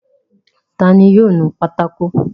Ta ni yóò nu pátákó?